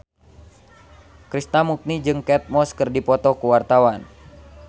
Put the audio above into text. Krishna Mukti jeung Kate Moss keur dipoto ku wartawan